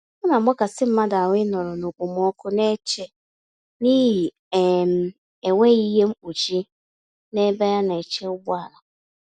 Ọnagbakasị mmadụ ahụ ịnọrọ na okpomọkụ n'eche n'ihi um enweghị ihe mkpuchi, n'ebe ana-eche ụgbọala